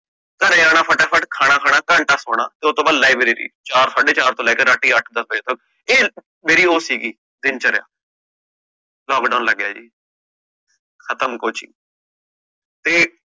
ਮੈਂ ਆਣਾ ਫਟਾ - ਫਹਟ, ਘੰਟਾ ਸੋਣਾ ਤੇ ਉਤੋਂ ਬਾਅਦ library ਚਾਰ ਸਾਡੇ ਚਾਰ ਤੋਂ ਲੈ ਕ ਰਾਤੀ ਅੱਠ ਦੱਸ ਵਜੇ ਤਕ ਇਹ ਮੇਰੀ ਉਹ ਸੀਗੀ ਦਿਨਚਾਰ੍ਯ, lockdown ਲੱਗ ਗਯਾ ਜੀ ਖਤਮ coaching ਤੇ